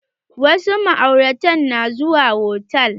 Wasu ma'auratan na zuwa hotal.